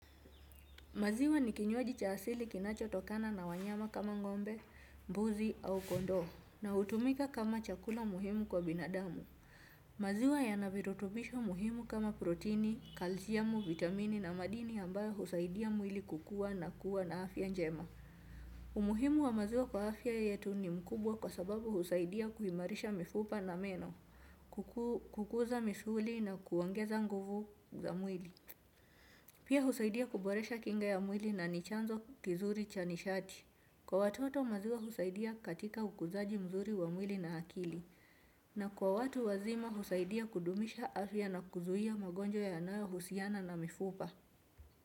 Maziwa ni kinywaji cha asili kinacho tokana na wanyama kama ngombe, mbuzi au kondoo, na hutumika kama chakula muhimu kwa binadamu. Maziwa yana virutubisho muhimu kama proteini, kalziamu, vitamini na madini ambayo husaidia mwili kukua na kuwa na afya njema. Umuhimu wa maziwa kwa afya yetu ni mkubwa kwa sababu husaidia kuhimarisha mifupa na meno, kukuza misuli na kuongeza nguvu za mwili. Pia husaidia kuboresha kinga ya mwili na ni chanzo kizuri cha nishati. Kwa watoto maziwa husaidia katika ukuzaji mzuri wa mwili na hakili. Na kwa watu wazima husaidia kudumisha afya na kuzuia magonjwa yanayo husiana na mifupa.